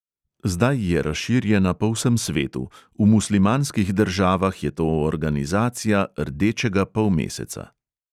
Zdaj je razširjena po vsem svetu, v muslimanskih državah je to organizacija rdečega polmeseca.